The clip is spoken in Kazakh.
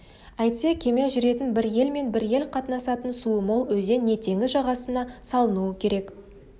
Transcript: әйтпесе кеме жүретін бір ел мен бір ел қатынасатын суы мол өзен не теңіз жағасына салынуы керек